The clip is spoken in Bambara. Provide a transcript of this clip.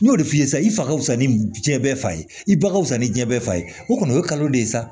N y'o de f'i ye sa i fa wusa ni diɲɛ bɛɛ fa ye i ba ka fisa ni diɲɛ bɛɛ fa ye o kɔni o ye kalo de ye sa